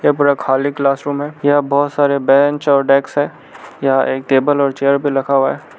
यह पूरा खाली क्लासरूम है यहा बहुत सारे बेंच और डेकस हैं यहा एक टेबल और चेयर भी लखा हुआ है।